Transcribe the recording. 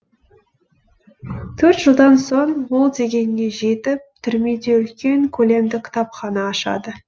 төрт жылдан соң ол дегеніне жетіп түрмеде үлкен көлемді кітапхана ашады